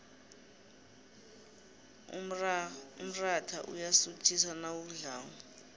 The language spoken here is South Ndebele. umrayha uyasuthisa nawudlako